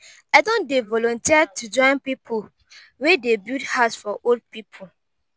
i don dey volunteer to join pipu wey dey build house for old pipu.